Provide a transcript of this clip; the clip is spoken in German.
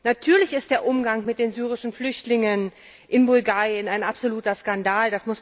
Natürlich ist der Umgang mit den syrischen Flüchtlingen in Bulgarien ein absoluter Skandal!